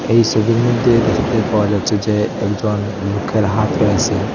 এই সবির মধ্যে দেখতে পাওয়া যাচ্ছে যে একজন লুকের হাত রয়েসে।